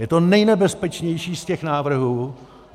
Je to nejnebezpečnější z těch návrhů.